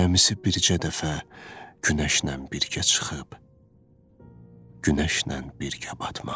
Cəmi bircə dəfə günəşlə birgə çıxıb, günəşlə birgə batmaq.